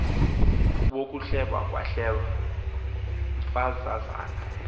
wokuhleba kwahleba mfazazana